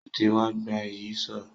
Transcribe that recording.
Ó ti wa gba Ìyíṣòó